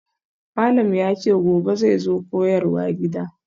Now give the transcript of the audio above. Malam yace gobe zai zo koyarwa gida.